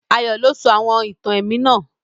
Ayó lo sọ àwon ìtàn èmí náà